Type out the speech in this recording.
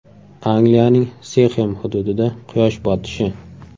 Angliyaning Sixem hududida quyosh botishi.